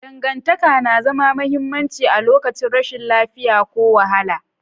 Dangantaka na zama mahimmanci a lokacin rashin lafiya ko wahala.